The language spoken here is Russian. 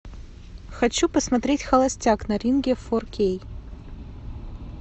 хочу посмотреть холостяк на ринге фор кей